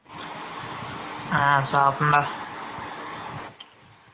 on சாப்டேன் டா